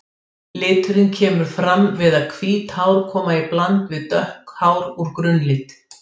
Liturinn kemur fram við að hvít hár koma í bland við dökk hár úr grunnlit.